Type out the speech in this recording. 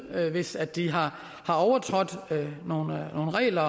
hvis de har overtrådt nogle regler